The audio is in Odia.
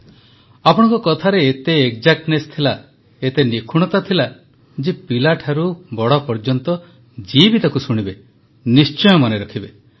ପ୍ରଧାନମନ୍ତ୍ରୀ ଆପଣଙ୍କ କଥାରେ ଏତେ ସରଳତା ଥିଲା ଏତେ ନିଖୁଣତା ଥିଲା ଯେ ପିଲାଠାରୁ ବଡ଼ ପର୍ଯ୍ୟନ୍ତ ଯିଏ ବି ତାକୁ ଶୁଣିବେ ନିଶ୍ଚୟ ମନେ ରଖିବେ